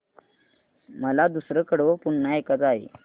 मला दुसरं कडवं पुन्हा ऐकायचं आहे